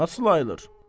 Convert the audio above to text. Nası ayılır?